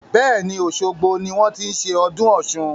Bẹ́ẹ̀ni, osogbo ni wọn ti ń ṣe ọdún Ọ̀sun.